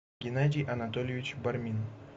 геннадий анатольевич бармин